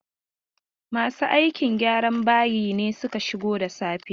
Masu aikin gyran bayi ne suka shigo da safe yau.